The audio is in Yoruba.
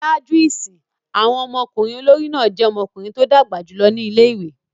Ṣaaju isin, awọn ọmọkunrin olori náa jẹ ̣ọmọkunrin to dagba julọ ni ìlé-ìwé